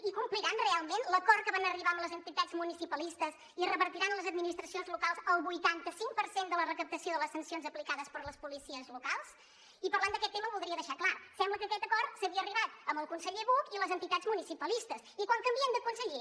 i compliran realment l’acord que van arribar amb les entitats municipalistes i revertiran a les administracions locals el vuitanta cinc per cent de la recaptació de les sancions aplicades per les policies locals i parlant d’aquest tema ho voldria deixar clar sembla que a aquest acord s’hi havia arribat amb el conseller buch i les entitats municipalistes i quan canvien de conseller